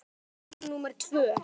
Þetta var brú númer tvö.